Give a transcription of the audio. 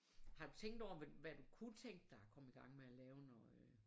Har du tænkt over hvad hvad du kunne tænke dig at komme igang med at lave når øh